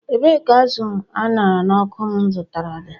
Ebee ka azụ̀ aṅhara n'ọkụ m zụtara dị?